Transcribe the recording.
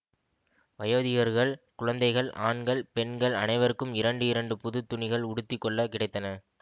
வயோதிகர்கள் குழந்தைகள் ஆண்கள் பெண்கள் அனைவருக்கும் இரண்டு இரண்டு புதுத் துணிகள் உடுத்தி கொள்ள கிடைத்தன